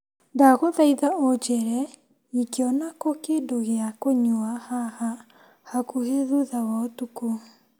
Ndagũthaitha ũnjĩre ingĩona kũ kĩndũ gĩa kũnyua haha hakuhĩ thutha wa ũtukũ.